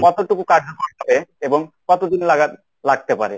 কতটুকু কার্যকর হবে এবং কতদিন লাগার~ লাগতে পারে?